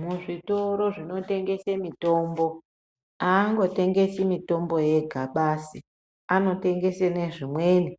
Muzvitoro zvinotengesa mitombo angotengese mitombo yega anotengesa zvimweni